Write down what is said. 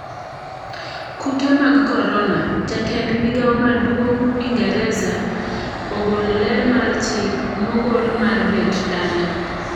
Kute mag korona: jatend migao maduong' ingereza ogolo ler mar chik mogol mar bet dala.